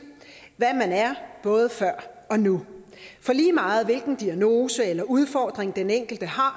hvad man er både før og nu for lige meget hvilken diagnose eller udfordring den enkelte har